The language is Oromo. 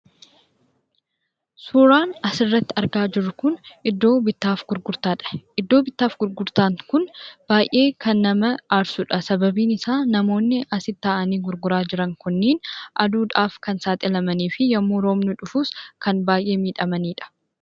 Suuraan asirratti argaa jirru kun iddoo bittaaf gurgurtaadha. Iddoon gurgurtaa kunis baay'ee kan nama aarsudha. Sababni isaas namoonni as ta'anii gurguraa jiran kunniin aduudhaaf kan saaxilamaniifi yeroo roobni dhufus kan baay'ee miidhamanidha.